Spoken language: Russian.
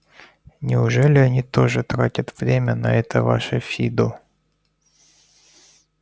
неужели они тоже тратят время на это ваше фидо